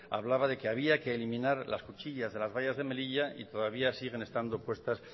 hablaba que decía que eliminar las cuchillas de las vallas de melilla y todavía siguen estando puestas